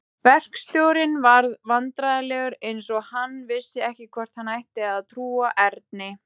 Verkstjórinn varð vandræðalegur eins og hann vissi ekki hvort hann ætti að trúa Erni.